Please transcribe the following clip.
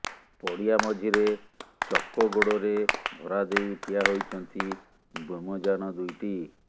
ପଡ଼ିଆ ମଝିରେ ଚକଗୋଡ଼ରେ ଭରାଦେଇ ଠିଆ ହୋଇଛନ୍ତି ବ୍ୟୋମଯାନ ଦୁଇଟି